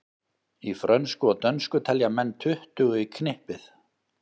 Í frönsku og dönsku telja menn tuttugu í knippið.